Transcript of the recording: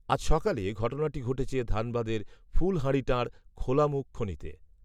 আজ সকালে ঘটনাটি ঘটেছে ধানবাদের ফুলহারিটাঁড়, খোলামুখ খনিতে